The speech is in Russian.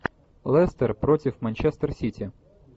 лестер против манчестер сити